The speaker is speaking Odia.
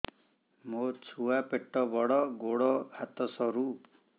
ମୋ ଛୁଆ ପେଟ ବଡ଼ ଗୋଡ଼ ହାତ ସରୁ